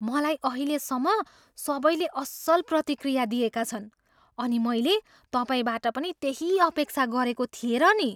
मलाई अहिलेसम्म सबैले असल प्रतिक्रिया दिएका छन् अनि मैले तपाईँबाट पनि त्यही अपेक्षा गरेको थिएँ र नि।